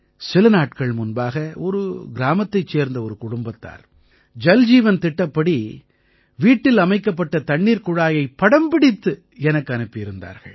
சில நாட்கள் முன்பாக ஒரு கிராமத்தைச் சேர்ந்த ஒரு குடும்பத்தார் ஜல்ஜீவன் திட்டத்தின்படி வீட்டில் அமைக்கப்பட்ட தண்ணீர்க் குழாயை படம்பிடித்து எனக்கு அனுப்பியிருந்தார்கள்